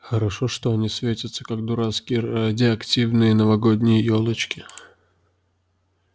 хорошо что они светятся как дурацкие радиоактивные новогодние ёлочки